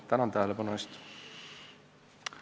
Tänan tähelepanu eest!